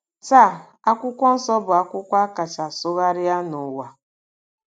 Taa, akwụkwọ nsọ bụ akwụkwọ a kacha sụgharịa n’ụwa.